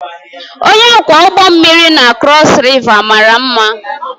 Onye ọkwọ ụgbọ mmiri na Crossriver mara mma